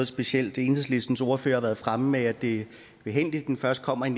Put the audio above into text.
specielt enhedslistens ordfører har været fremme med at det er behændigt at den først kommer i